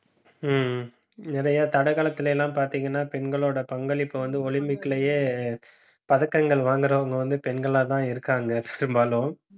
உம் நிறைய தடகளத்துல எல்லாம் பாத்தீங்கன்னா பெண்களோட பங்களிப்பை வந்து, olympic லயே, பதக்கங்கள் வாங்குறவங்க வந்து பெண்களாதான் இருக்காங்க பெரும்பாலும்